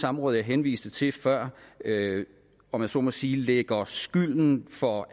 samråd jeg henviste til før om jeg så må sige lægger skylden for